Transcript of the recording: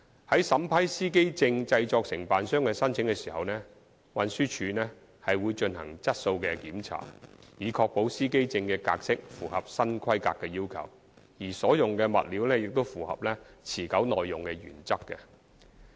在審批司機證製作承辦商的申請時，運輸署會進行質素檢查，以確保司機證的格式符合新規格要求，而所用物料亦須符合持久耐用的原則。